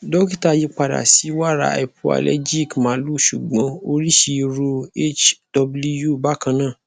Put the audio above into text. dokita yi pada si wara hypoalergic malu sugbon orisi iru hw bakana